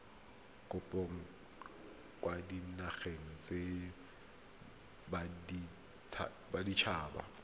kopo kwa dinageng tsa baditshaba